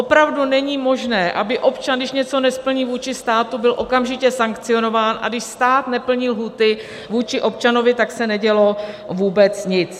Opravdu není možné, aby občan, když něco nesplní vůči státu, byl okamžitě sankcionován, a když stát neplní lhůty vůči občanovi, tak se nedělo vůbec nic.